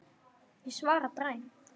Ég svara dræmt.